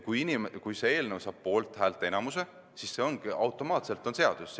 Kui eelnõu saab poolthäälte enamuse, siis ongi see automaatselt seadusena vastu võetud.